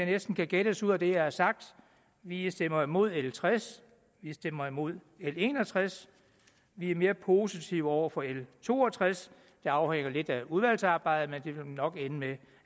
næsten kan gætte ud af det jeg har sagt vi vi stemmer imod l tres vi stemmer imod l en og tres vi er mere positive over for l to og tres det afhænger lidt af udvalgsarbejdet men det vil nok ende med